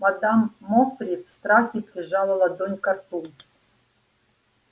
мадам мофри в страхе прижала ладонь ко рту